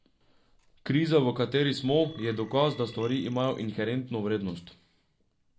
Kriza v kateri smo, je dokaz, da stvari imajo inherentno vrednost.